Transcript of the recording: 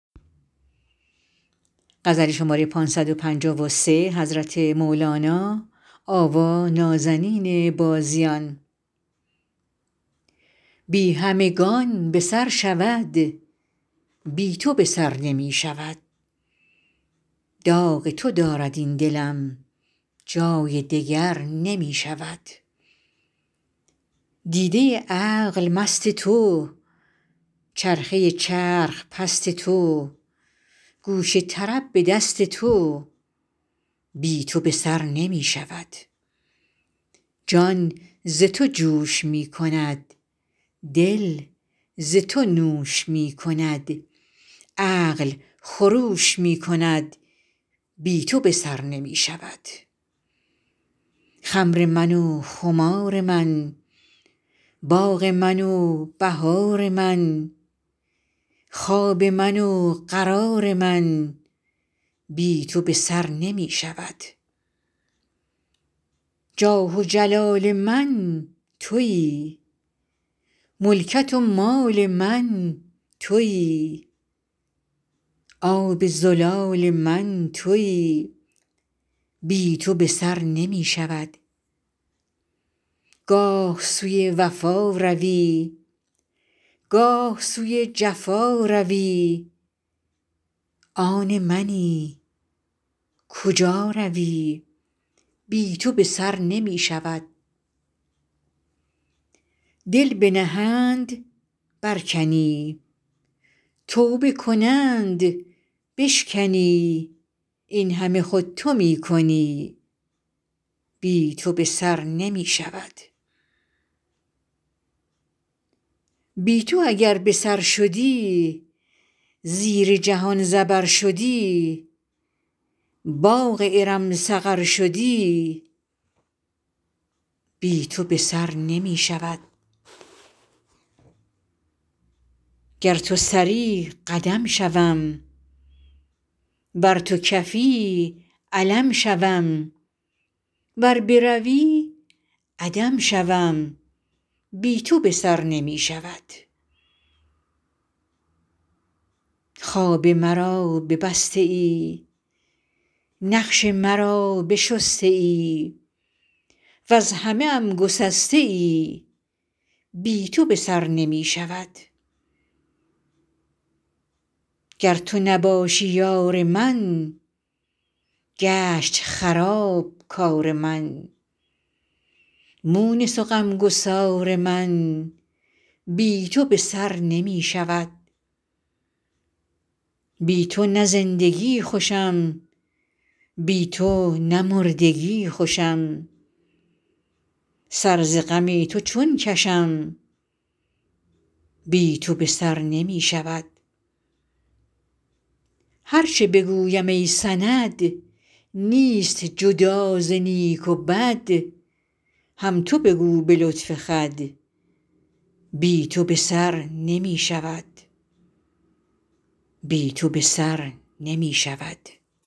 بی همگان به سر شود بی تو به سر نمی شود داغ تو دارد این دلم جای دگر نمی شود دیده عقل مست تو چرخه چرخ پست تو گوش طرب به دست تو بی تو به سر نمی شود جان ز تو جوش می کند دل ز تو نوش می کند عقل خروش می کند بی تو به سر نمی شود خمر من و خمار من باغ من و بهار من خواب من و قرار من بی تو به سر نمی شود جاه و جلال من تویی ملکت و مال من تویی آب زلال من تویی بی تو به سر نمی شود گاه سوی وفا روی گاه سوی جفا روی آن منی کجا روی بی تو به سر نمی شود دل بنهند برکنی توبه کنند بشکنی این همه خود تو می کنی بی تو به سر نمی شود بی تو اگر به سر شدی زیر جهان زبر شدی باغ ارم سقر شدی بی تو به سر نمی شود گر تو سری قدم شوم ور تو کفی علم شوم ور بروی عدم شوم بی تو به سر نمی شود خواب مرا ببسته ای نقش مرا بشسته ای وز همه ام گسسته ای بی تو به سر نمی شود گر تو نباشی یار من گشت خراب کار من مونس و غم گسار من بی تو به سر نمی شود بی تو نه زندگی خوشم بی تو نه مردگی خوشم سر ز غم تو چون کشم بی تو به سر نمی شود هر چه بگویم ای سند نیست جدا ز نیک و بد هم تو بگو به لطف خود بی تو به سر نمی شود